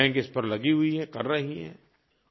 सभी बैंक इस पर लगी हुई हैं कर रही हैं